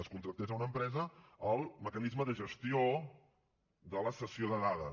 es contractés a una empresa el mecanisme de gestió de la cessió de dades